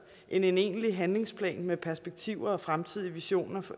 end en egentlig handlingsplan med perspektiver og fremtidige visioner